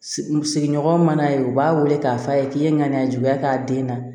Sigiɲɔgɔn ma n'a ye u b'a wele k'a f'a ye k'i ye ŋaniya juguya k'a den na